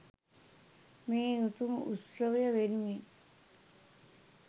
මේ උතුම් උත්සවය වෙනුවෙන්